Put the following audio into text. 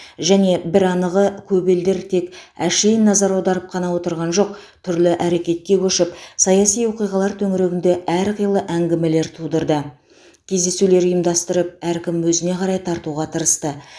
және бір анығы көп елдер тек әшейін назар аударып қана отырған жоқ түрлі әрекетке көшіп саяси оқиғалар төңірегінде әрқилы әңгімелер тудырды кездесулер ұйымдастырып әркім өзіне қарай тартуға тырысты